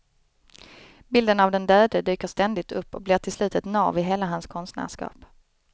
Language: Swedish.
Bilden av den döde dyker ständigt upp och blir till slut ett nav i hela hans konstnärskap.